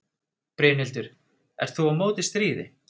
Brynhildur: Ert þú á móti stríði?